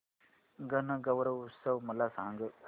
गणगौर उत्सव मला सांग